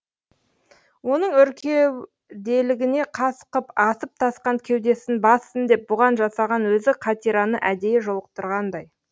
оның өркеуделігіне қас қып асып тасқан кеудесін бассын деп бұған жасаған өзі қатираны әдейі жолықтырғандай